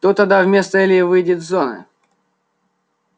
кто тогда вместо ильи выйдет с зоны